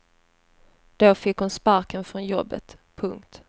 Då fick hon sparken från jobbet. punkt